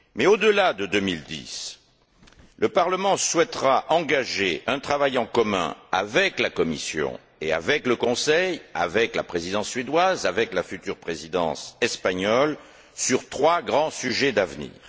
Au delà de 2010, le Parlement souhaitera engager un travail en commun avec la Commission, le Conseil, la Présidence suédoise et la future Présidence espagnole, sur trois grands sujets d'avenir.